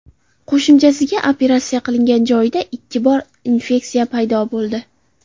Qo‘shimchasiga operatsiya qilingan joyida ikki bor infeksiya paydo bo‘ldi.